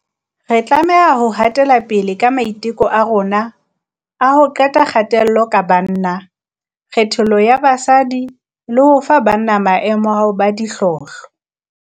Re tlameha ho hatelapele ka maiteko a rona a ho qeta kgatello ka banna, kgethollo ya basadi le ho fa banna maemo a ho ba dihlohlo.